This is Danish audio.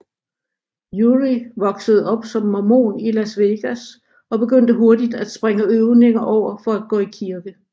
Urie voksede op som mormon i Las Vegas og begyndte hurtigt at springe øvning over for at gå i kirke